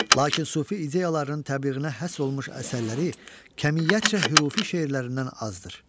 Lakin sufi ideyalarının təbliğinə həsr olunmuş əsərləri kəmiyyətcə hürufi şeirlərindən azdır.